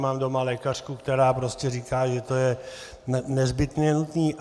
Mám doma lékařku, která prostě říká, že to je nezbytně nutné.